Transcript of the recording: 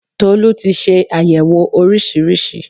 Tolú ti se àyẹ̀wò oríṣiríṣi